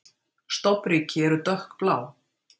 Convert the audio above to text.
Stofnríki eru dökkblá.